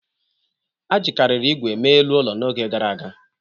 A jikarịrị igwe mee elu ụlọ n'oge gara aga.